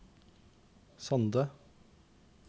Sande